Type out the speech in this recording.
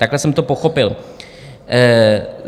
Takhle jsem to pochopil.